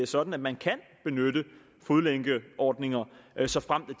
sådan at man kan benytte fodlænkeordningen såfremt de